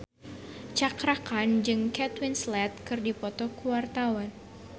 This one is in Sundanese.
Cakra Khan jeung Kate Winslet keur dipoto ku wartawan